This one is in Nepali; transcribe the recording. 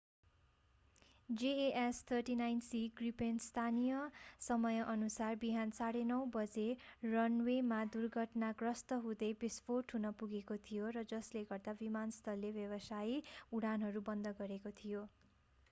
jas 39c ग्रिपेन स्थानीय समयअनुसार बिहान 9:30 बजे 0230 utc रनवेमा दुर्घटनाग्रस्त हुँदै विस्फोट हुन पुगेको थियो र जसले गर्दा विमानस्थलले व्यावसायिक उडानहरू बन्द गरेको थियो।